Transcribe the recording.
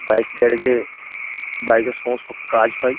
Bike garage -এ bike -এর সমস্ত কাজ হয়।